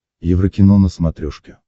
еврокино на смотрешке